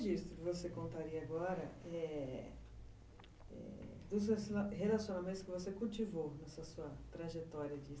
E que registro você contaria agora, é... dos relacionamentos que você cultivou nessa sua trajetória de